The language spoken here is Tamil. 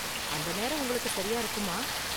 அந்த நேரம் உங்களுக்கு சரியா இருக்குமா?